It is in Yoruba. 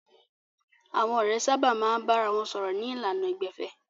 Àwọn ọ̀rẹ́ sábà máa ń bára wọn sọ̀rọ̀ ní ìlànà ìgbẹ̀fẹ́.